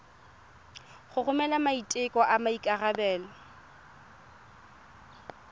go romela maiteko a maikarebelo